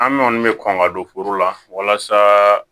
An kɔni bɛ kɔn ka don furu la walasa